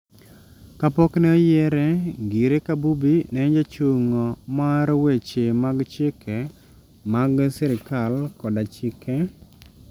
Kapok ne oyiere ngire kabubi ne en jachung' mar weche mag chike mag sirikal koda chike